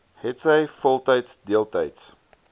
hetsy voltyds deeltyds